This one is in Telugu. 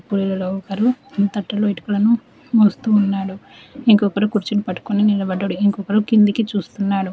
వీళ్లలో ఒకరు తట్టలో ఇటుకలను మోస్తూ ఉన్నాడు ఇంకొకరు కుర్చీని పట్టుకుని నిలబడ్డాడు ఇంకొకడు కిందికి చూస్తున్నాడు.